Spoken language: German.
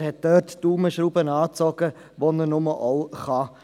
Er zog die Daumenschrauben dort an, wo immer er konnte.